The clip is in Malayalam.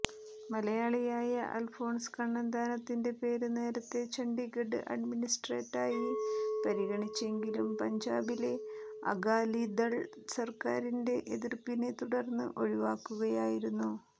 മലയാളിയായ അൽഫോൻസ് കണ്ണന്താനത്തിന്റെ പേര് നേരത്തെ ചണ്ഡിഗഢ് അഡ്മിനിസ്ട്രേറ്ററായി പരിഗണിച്ചെങ്കിലും പഞ്ചാബിലെ അകാലിദൾ സർക്കാരിന്റെ എതിർപ്പിനെ തുടർന്ന് ഒഴിവാക്കുകയായിരുന്നു